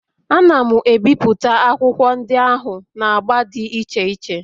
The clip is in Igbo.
Ana m ebipụta akwụkwọ ndị ahụ na agba dị iche iche